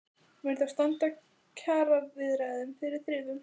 Mun það þá standa kjaraviðræðum fyrir þrifum?